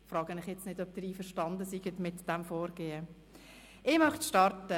Ich frage den Rat nun nicht, ob er mit diesem Vorgehen einverstanden ist.